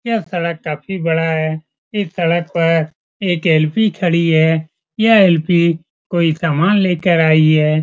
यह सड़क काफी बड़ा है इस सड़क पर एक एल.पी. खड़ी है यह एल.पी. कोई सामान लेकर आई है।